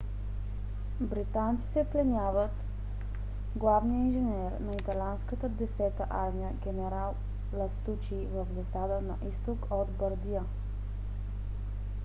британците пленяват главния инженер на италианската десета армия генерал ластучи в засада на изток от бардия